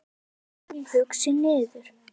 Við gengum hugsi niður